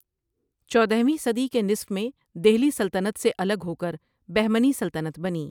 چودہ ویں صدی کے نصف میں دہلی سلطنت سے الگ ہو کر بہمنی سلطنت بنی ۔